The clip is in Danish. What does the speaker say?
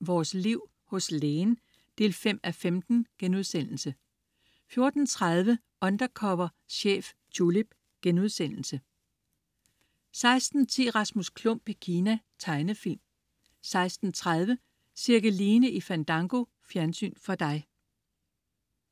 Vores Liv. Hos Lægen 5:15* 14.30 Undercover chef, Tulip* 16.10 Rasmus Klump i Kina. Tegnefilm 16.30 Cirkeline i Fandango. Fjernsyn for dig